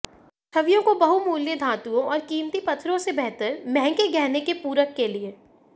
छवियों को बहुमूल्य धातुओं और कीमती पत्थरों से बेहतर महंगे गहने के पूरक के लिए